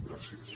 gràcies